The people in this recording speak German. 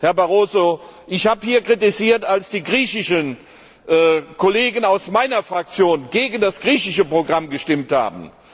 Herr Barroso, ich habe Kritik geübt, als die griechischen Kollegen aus meiner Fraktion gegen das griechische Programm gestimmt haben.